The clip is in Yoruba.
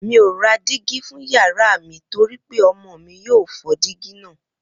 Mi ò ra dígí fún yàrá mi torí pé ọmọ mi yóò fọ́ dígí náà